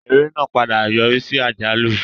Eré náà padà yọrí sí àjálù.